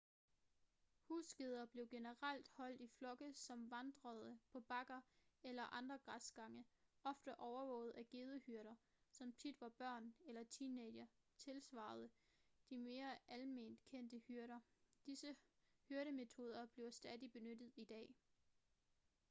husgeder blev generelt holdt i flokke som vandrede på bakker eller andre græsgange ofte overvåget af gedehyrder som tit var børn eller teenagere tilsvarede de mere alment kendte hyrder disse hyrdemetoder bliver stadig benyttet i dag